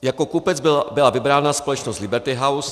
Jako kupec byla vybrána společnost Liberty House.